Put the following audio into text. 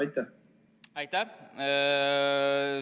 Aitäh!